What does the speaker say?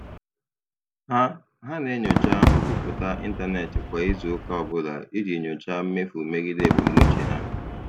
Ha Ha na-enyocha nkwupụta ịntanetị kwa izu ụka ọ bụla iji nyochaa mmefu megide ebumnuche ha.